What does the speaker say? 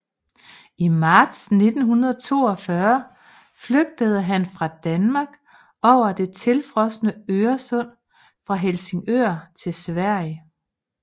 I marts 1942 flygtede han fra Danmark over det tilfrosne Øresund fra Helsingør til Sverige